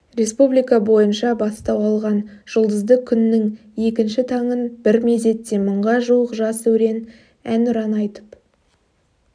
республика бойынша бастау алған жұлдызды күннің екінші таңын бір мезетте мыңға жуық жас өрен әнұран айтып